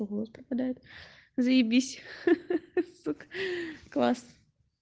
голос пропадает заебись сук класс